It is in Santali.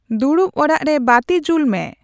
ᱫᱩᱲᱩᱵ ᱚᱲᱟᱜ ᱨᱮ ᱵᱟᱹᱛᱤ ᱡᱩᱞ ᱢᱮ